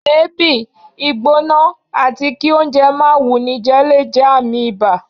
èébi, ìgbóná atí kí oúnjẹ máà wúníjé le jé ààmì ìbá